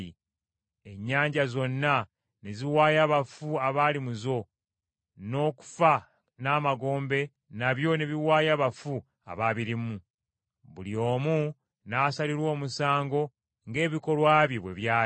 Ennyanja zonna ne ziwaayo abafu abaali mu zo, n’okufa n’Amagombe nabyo ne biwaayo abafu abaabirimu. Buli omu n’asalirwa omusango, ng’ebikolwa bye bwe byali.